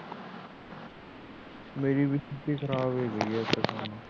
ਮੇਰੀ ਵਿਸਕੀ ਖਰਾਬ ਹੋ ਗਈ ਹੇੈ